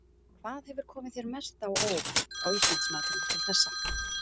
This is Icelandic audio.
Hvað hefur komið þér mest á óvart á Íslandsmótinu til þessa?